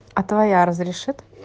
а твоя разрешит